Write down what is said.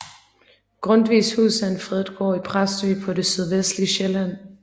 Grundtvigs Hus er en fredet gård i Præstø på det sydvestlige Sjælland